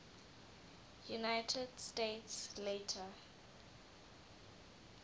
united states later